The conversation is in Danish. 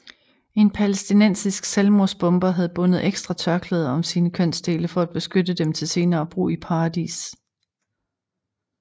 En palæstinensisk selvmordsbomber havde bundet ekstra tørklæder om sine kønsdele for at beskytte dem til senere brug i paradis